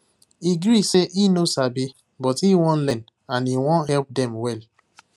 he gree say e no sabi but he wan learn and he wan help them well